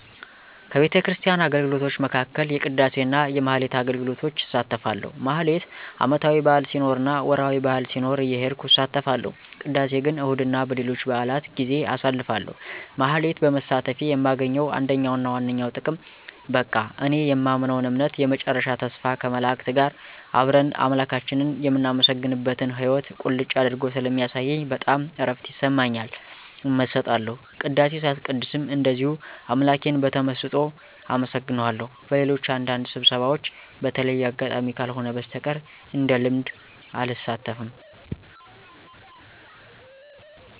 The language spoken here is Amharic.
ከቤተክርስቲያን አገልግሎቶች መካከል የቅዳሴ እና የማኅሌት አገልግሎቶች እሳተፋለሁ። ማኅሌት ዓመታዊ በዓል ሲኖር እና ወርኃዊ በዓል ሲኖር እየሄድኩ እሳተፋለሁ። ቅዳሴ ግን እሁድ እና በሌሎች በዓላት ጌዜ አሳተፋለሁ። ማኅሌት በመሳተፌ የማገኘው አንደኛውና ዋነኛው ጥቅም በቃ እኔ የማምነውን እምነት የመጨረሻ ተስፋ ከመላእክት ጋር አብረን አምላካችንን የምናመሰግንበትን ሕይዎት ቁልጭ አድርጎ ስለሚያሳየኝ በጣም እረፍት ይሰማኛል። እመሰጣለሁ። ቅዳሴ ሳስቀድስም እንደዚሁ አምላኬን በተመሰጦ አመሰግነዋለሁ። በሌሎች አንዳንድ ስብሰባዎች በተለየ አጋጣሚ ካልሆነ በስተቀር እንደልምድ አልሳተፍም።